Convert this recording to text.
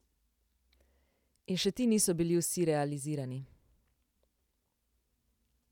In še ti niso bili vsi realizirani.